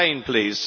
Explain, please.